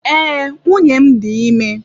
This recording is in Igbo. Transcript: Ee, nwunye m dị ime.